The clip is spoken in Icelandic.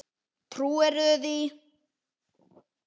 Trúirðu því?